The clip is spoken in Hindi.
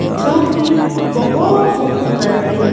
जो कि बहोत खूबसूरत है।